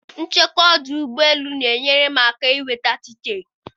nchekwa ọdụ ụgbọ elu na-enyere m aka inweta tiketi